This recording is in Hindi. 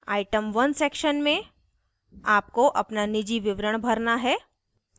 item 1 section में आपको अपना निजी विवरण भरना है